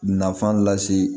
Nafan lase